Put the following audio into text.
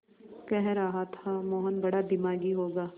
कह रहा था मोहन बड़ा दिमागी होगा